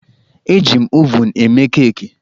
Eji m ovunụ eme keeki.